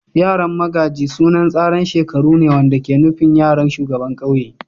Yaran magaji sunan tsaran shekaru ne wanda ke nufin yaran shugaban kauye.